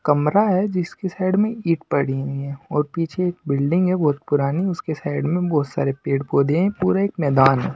कमरा है जिसके साइड में ईंट पड़ी हुई है और पीछे एक बिल्डिंग है बहुत पुरानी उसके साइड में बहुत सारे पेड़-पौधे हैं पूरा एक मैदान है।